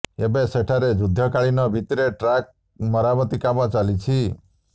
ଏବେ ସେଠାରେ ଯୁଦ୍ଧକାଳୀନ ଭିତ୍ତିରେ ଟ୍ରାକ୍ ମରାମିତି କାମ ଚାଲିଛି